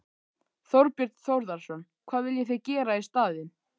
Þorbjörn Þórðarson: Hvað viljið þið gera í staðinn?